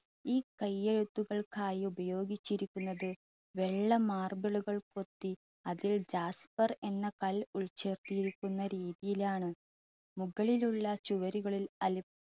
ഈ കൈയ്യെഴുത്തുകൾക്കായി ഉപയോഗിച്ചിരിക്കുന്നത് വെള്ള marble കൾ കൊത്തി അതിൽ എന്ന മഷി ഒഴിച്ചു എഴുതിയിരിക്കുന്ന രീതിയിൽ ആണ്.